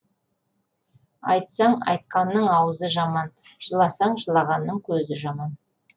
айтсаң айтқанның аузы жаман жыласаң жылағанның көзі жаман